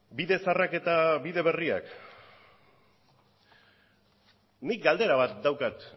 bide zaharrak eta bide berriak nik galdera bat daukat